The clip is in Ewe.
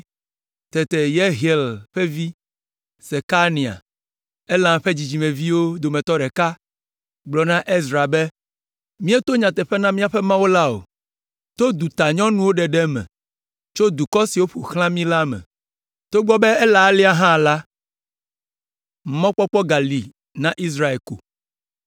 Tete Yehiel ƒe vi, Sekania, Elam ƒe dzidzimeviwo dometɔ ɖeka, gblɔ na Ezra be, “Míeto nyateƒe na míaƒe Mawu la o, to dutanyɔnuwo ɖeɖe me tso dukɔ siwo ƒo xlã mí la me. Togbɔ be ele alea hã la, mɔkpɔkpɔ gali na Israel ko.